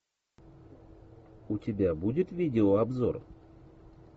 у тебя будет видеообзор